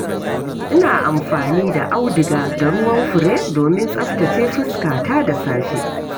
Ina amfani da auduga da ruwan fure domin tsaftace fuskata da safe.